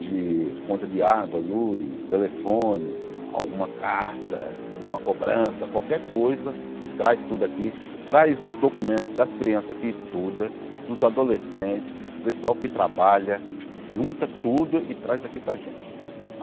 de conta de água, luz, telefone, alguma carta, alguma cobrança, qualquer coisa, traz tudo aqui, traz os documentos das crianças que estudam, dos adolescentes, do pessoal que trabalha, junta tudo e traz aqui para a gente.